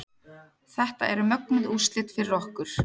Þetta eru mögnuð úrslit fyrir okkur